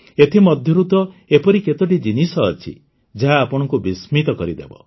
ଏଥିମଧ୍ୟରୁ ତ ଏପରି କେତୋଟି ଜିନିଷ ଅଛି ଯାହା ଆପଣଙ୍କୁ ବିସ୍ମିତ କରିଦେବ